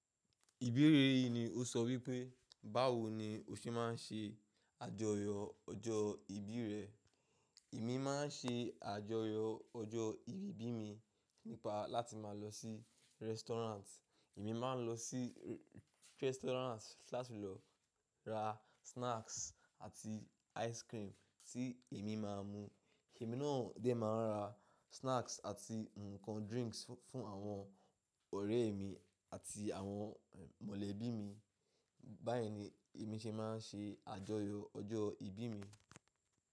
Ìbéérè yìí ni o sọ wípé, báwo ni o ṣe máa ń ṣe àjọyọ̀ ọjọ́ ìbí rẹ. Èmi máa ń ṣe àjọyọ̀ ọjọ́ ìbí mi nípa láti máa lọ sí restaurant. Èmi máa ń lọ sí restaurant láti lọ ra snacks àti ice cream tí èmi máa mu. Ẹ̀mí náà ni dé máa ń ra snacks àti nǹkan drinks fún àwọn ọ̀rẹ́ ẹ̀ mi àti àwọn mọ̀lẹ́bí mi. Báyìí ni èmi ṣe máa ń ṣe àjọyọ̀ ọjọ́ ìbí mi.